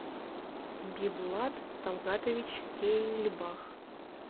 бибулат талгатович кейльбах